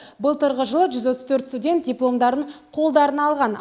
былтырғы жылы жүз отыз төрт студент дипломдарын қолдарына алған